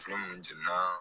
Fɛn minnu jɛnɛna